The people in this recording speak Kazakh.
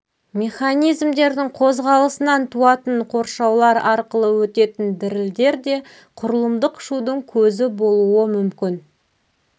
механизмдердің қозғалысынан туатын қоршаулар арқылы өтетін дірілдер де құрылымдық шудың көзі болуы мүмкін